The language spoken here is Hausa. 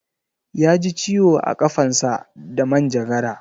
Yaji ciwo a ƙafansa da manjagara